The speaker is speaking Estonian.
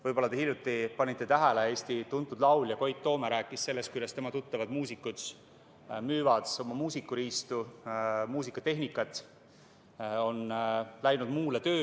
Võib-olla te hiljuti panite tähele, et tuntud laulja Koit Toome rääkis sellest, kuidas tema tuttavad muusikud müüvad oma muusikariistu, muusikatehnikat, on läinud muule tööle.